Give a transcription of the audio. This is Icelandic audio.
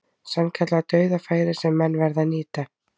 Sannkallað dauðafæri sem menn verða að nýta.